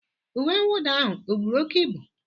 uwe mwụda ahụ ọ buru oke ibu?